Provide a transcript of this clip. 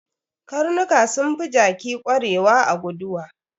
Karnuka sun fi jaki kwarewa a guduwa.